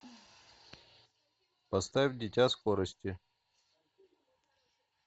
поставь дитя скорости